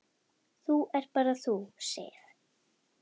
Það ert bara þú, Sif.